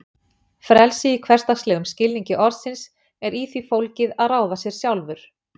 Frelsi í hversdagslegum skilningi orðsins er í því fólgið að ráða sér sjálfur.